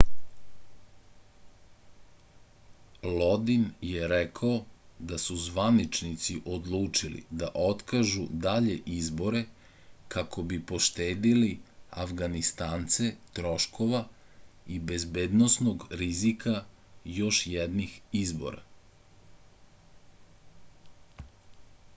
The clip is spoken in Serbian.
lodin je rekao da su zvaničnici odlučili da otkažu dalje izbore kako bi poštedeli afganistance troškova i bezbednosnog rizika još jednih izbora